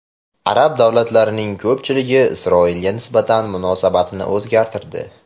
Arab davlatlarining ko‘pchiligi Isroilga nisbatan munosabatini o‘zgartirdi.